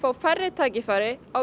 færri tækifæri á